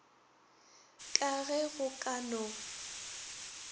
ka ge go ka no